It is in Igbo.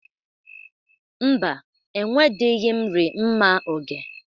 Mba, enwedịghi m ri mma oge.